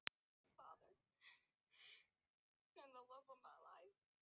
Fórum til Rúnars Við Tjörnina eitt hádegi.